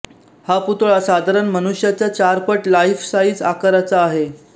हा पुतळा साधारण मनुष्याच्या चार पट लाईफ साईज आकाराचा आहे